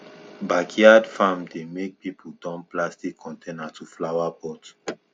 backyard farm dey make people turn plastic container to flower pot